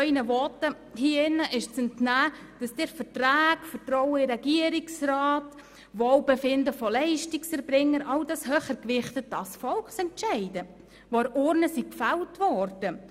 Ihren Voten hier im Grossen Rat ist zu entnehmen, dass Sie Verträge, Vertrauen in den Regierungsrat und das Wohlbefinden von Leistungserbringern höher gewichten als Volksentscheide an der Urne.